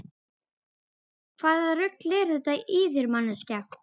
Hvaða rugl er þetta í þér manneskja!